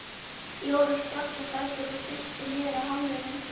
Jóra spratt á fætur og þusti niður af hamrinum.